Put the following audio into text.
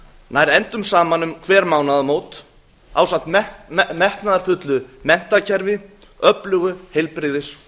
nær endum saman um hver mánaðamót ásamt metnaðarfullu menntakerfi öflugu heilbrigðis og